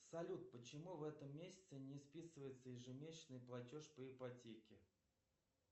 салют почему в этом месяце не списывается ежемесячный платеж по ипотеке